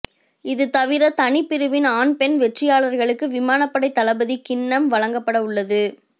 இது தவிர தனிப் பிரிவின் ஆண் பெண் வெற்றியாளர்களுக்கு விமானப்படை தளபதி கிண்ணம் வழங்கப்படவுள்ளது